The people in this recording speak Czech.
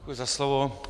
Děkuji za slovo.